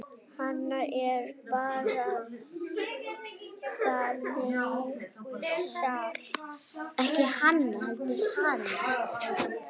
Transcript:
Hann er bara þannig sál.